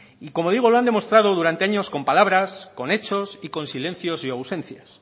y como digo lo han demostrado durante años con palabras con hechos y con silencios y ausencias